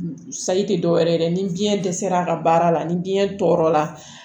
Sayi te dɔwɛrɛ ye dɛ ni biyɛn dɛsɛra a ka baara la ni biyɛn tɔɔrɔ la